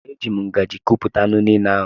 E ji m ngaji kupụta anụ niile ahụ.